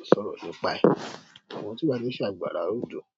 à sọ̀rọ̀ nípa ẹ̀. Àwọn tí bá ti ṣe àgbàrá òjò, ó ṣòro gan.